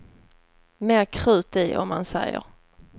Mer krut i, om man säger.